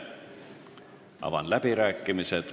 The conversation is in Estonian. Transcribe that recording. Avan läbirääkimised.